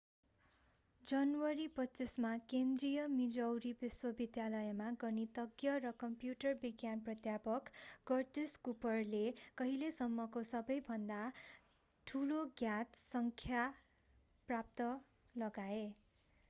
जनवरी 25 मा केन्द्रिय मिजौरी विश्वविद्यालयमा गणितज्ञ र कम्प्युटर विज्ञान प्राध्यापक कर्टिस कुपरले अहिलेसम्मको सबैभन्दा ठूलो ज्ञात सङ्ख्या पत्ता लगाए